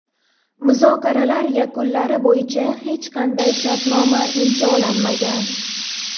Muzokaralar yakunlari bo‘yicha hech qanday shartnoma imzolanmagan.